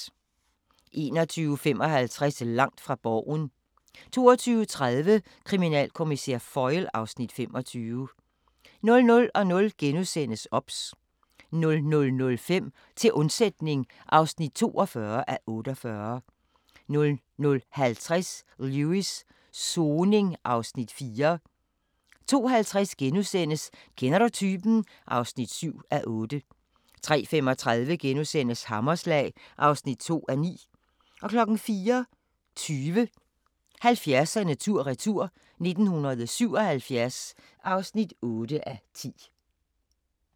21:55: Langt fra Borgen 22:30: Kriminalkommissær Foyle (Afs. 25) 00:00: OBS * 00:05: Til undsætning (42:48) 00:50: Lewis: Soning (Afs. 4) 02:50: Kender du typen? (7:8)* 03:35: Hammerslag (2:9)* 04:20: 70'erne tur-retur: 1977 (8:10)